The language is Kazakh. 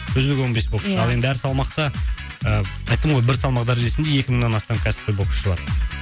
үздік он бес боксшы ал енді әр салмақта ыыы айттым ғой бір салмақ дәрежесінде екі мыңнан астам кәсіпқой боксшы бар